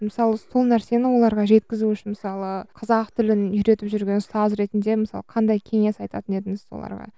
мысалы сол нәрсені оларға жеткізу үшін мысалы қазақ тілін үйретіп жүрген ұстаз ретінде мысалы қандай кеңес айтатын едіңіз оларға